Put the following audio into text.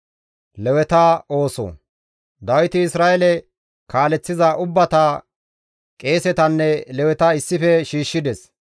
Dawiti Isra7eele kaaleththiza ubbata, qeesetanne Leweta issife shiishshides.